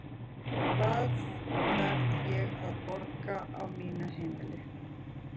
Hvaða verð er ég að borga á mínu heimili?